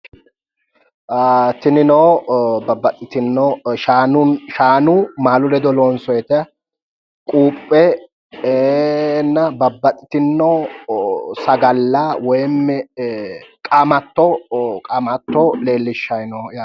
Tinino babbaxiteewo shaanunni maalu ledo loonsooyita quuphenna babbaxiteewo sagale loonsooyita woyimmi qaamatto leellishshanni no yaate